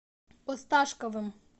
осташковым